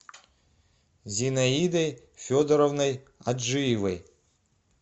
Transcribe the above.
зинаидой федоровной аджиевой